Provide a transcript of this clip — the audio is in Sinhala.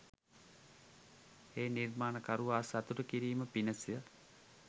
ඒ නිර්මාණකරුවා සතුටු කිරීම පිණිස